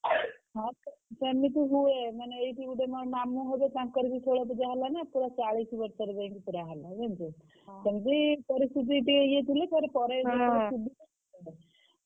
ହଁ ସେମିତି ହୁଏ ମାନେ ଏଇଠି ଗୋଟେ ମୋର ମାମୁଁ ହେବେ ତାଙ୍କର ବି ଷୋଳ ପୁଜା ହେଲା ନା ପୁରା ଚାଳିଶ୍ ବର୍ଷରେ ଯାଇ ପୁରା ହେଲା ଜାଣିଛୁ ତ ସେମିତି ପରିସ୍ଥିତି ଟିକେ ଇଏ ଥିଲେ ପରେ